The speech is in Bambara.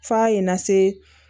F'a ye n na se